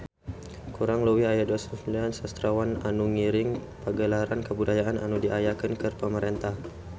Kurang leuwih aya 29 sastrawan anu ngiring Pagelaran Kabudayaan anu diayakeun ku pamarentah